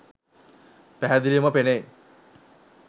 පැහැදිලිව ම පෙනෙයි.